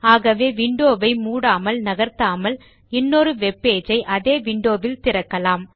ஆகவே விண்டோ வை மூடாமல் நகர்த்தாமல் இன்னொரு வெப்பேஜ் ஐ அதே விண்டோ வில் திறக்கலாம்